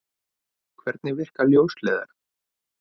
Hvernig virka ljósleiðarar?